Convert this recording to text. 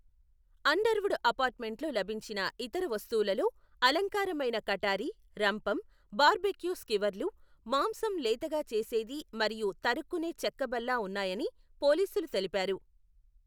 Underwood అపార్ట్మెంట్లో లభించిన ఇతర వస్తువులలో అలంకారమైన కటారి, రంపం, బార్బెక్యూ స్కివర్లు, మాంసం లేతగా చేసేది మరియు తఱుక్కునే చెక్క బల్ల ఉన్నాయని పోలీసులు తెలిపారు.